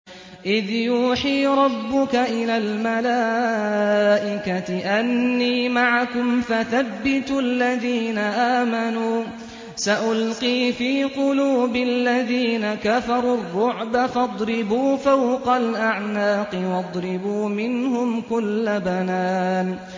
إِذْ يُوحِي رَبُّكَ إِلَى الْمَلَائِكَةِ أَنِّي مَعَكُمْ فَثَبِّتُوا الَّذِينَ آمَنُوا ۚ سَأُلْقِي فِي قُلُوبِ الَّذِينَ كَفَرُوا الرُّعْبَ فَاضْرِبُوا فَوْقَ الْأَعْنَاقِ وَاضْرِبُوا مِنْهُمْ كُلَّ بَنَانٍ